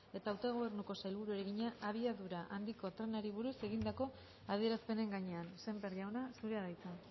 eta autogobernuko sailburuari egina abiadura handiko trenari buruz egindako adierazpenen gainean sémper jauna zurea da hitza